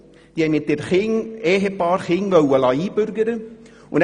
Ein Ehepaar mit Kindern wollte sich einbürgern lassen.